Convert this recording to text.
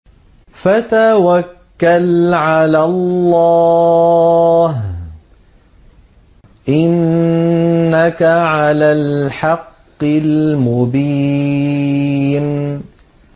فَتَوَكَّلْ عَلَى اللَّهِ ۖ إِنَّكَ عَلَى الْحَقِّ الْمُبِينِ